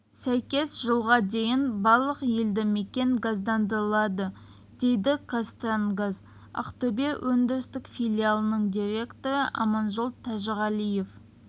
сәйкес жылға дейін барлық елді мекен газдандырылады дейді қазтрансгаз ақтөбе өндірістік филиалының директоры аманжол тәжіғалиев